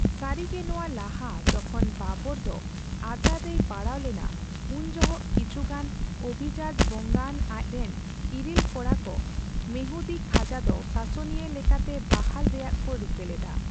ᱥᱟᱨᱤᱜᱮ, ᱱᱚᱣᱟ ᱞᱟᱦᱟ ᱡᱚᱠᱷᱚᱱ ᱵᱟᱵᱚᱨ ᱫᱚ ᱟᱡᱟᱨᱨᱮᱭ ᱯᱟᱲᱟᱣ ᱞᱮᱱᱟ, ᱩᱱ ᱡᱚᱦᱚᱜ ᱠᱤᱪᱷᱩ ᱜᱟᱱ ᱚᱵᱷᱤᱡᱟᱡᱚ ᱵᱚᱝᱟᱱ ᱟᱡ ᱨᱮᱱ ᱤᱨᱤᱞ ᱠᱚᱲᱟᱠᱚ ᱢᱮᱦᱫᱤ ᱠᱷᱟᱡᱟ ᱫᱚ ᱥᱟᱥᱚᱱᱤᱭᱟᱹ ᱞᱮᱠᱟᱛᱮ ᱵᱟᱦᱟᱞ ᱨᱮᱭᱟᱜ ᱠᱚ ᱨᱤᱠᱟᱹ ᱞᱮᱫᱟ ᱾